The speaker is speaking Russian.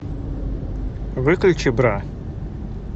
выключи бра